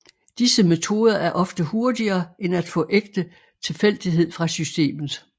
Disse metoder er ofte hurtigere end at få ægte tilfældighed fra systemet